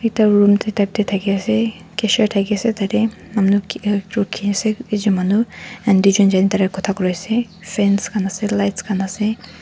ekta room tu tat teh thaki ase kisha thaki ase tat teh manu kotha koi ase fans khan ase lights khan ase.